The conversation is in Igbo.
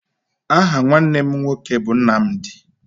Aha nwanne m nwoke bụ Nnamdị